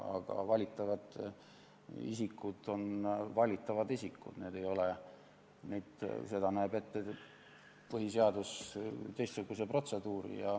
Aga valitavad isikud on valitavad isikud, selleks näeb põhiseadus ette teistsuguse protseduuri.